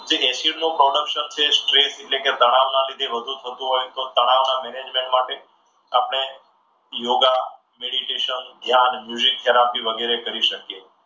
acid નું જે production છે એટલે કે ટ્રેસ એટલે કે તણાવના લીધે વધુ થતું હોય છે. તો તળાવના management માટે આપણે યોગા, મેડીટેશન, જ્ઞાન થેરાપી વગેરે કરી શકીએ.